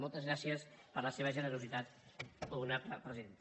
moltes gràcies per la seva generositat honorable presidenta